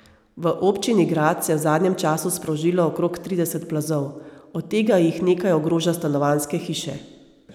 V občini Grad se je v zadnjem času sprožilo okrog trideset plazov, od tega jih nekaj ogroža stanovanjske hiše.